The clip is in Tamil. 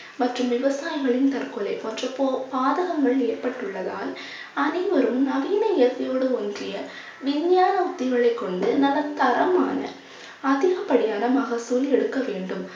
மற்றும் விவசாயிகளின் தற்கொலை பாதகங்கள் ஏற்பட்டுள்ளதால் அனைவரும் நவீன இயற்கையோடு ஒன்றிய விஞ்ஞான உத்திகளைக் கொண்டு நல்ல தரமான அதிகப்படியான மகசூல் எடுக்க வேண்டும்.